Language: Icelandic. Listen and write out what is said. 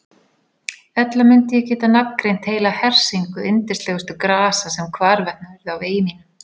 Ella mundi ég geta nafngreint heila hersingu yndislegustu grasa sem hvarvetna urðu á vegi mínum.